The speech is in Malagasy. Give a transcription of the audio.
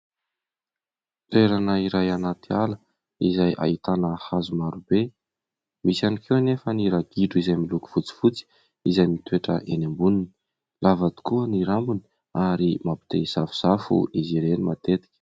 Toerana iray anaty ala izay ahitana hazo marobe. Misy ihany koa anefa ny ragidro izay miloko fotsifotsy izay mitoetra eny amboniny ; lava tokoa ny rambony ary mampite hisafosafo izy ireny matetika.